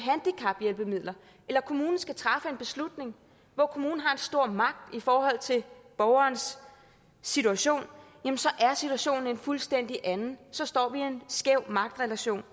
kommunen skal træffe en beslutning hvor kommunen har en stor magt i forhold til borgerens situation så er situationen en fuldstændig anden så står man i en skæv magtrelation